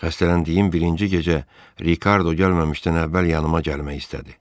Xəstələndiyim birinci gecə Rikardo gəlməmişdən əvvəl yanıma gəlmək istədi.